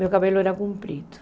Meu cabelo era comprido.